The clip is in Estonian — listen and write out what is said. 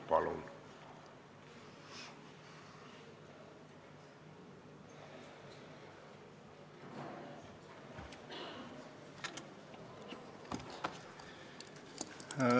Palun!